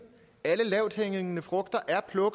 alle lavthængende frugter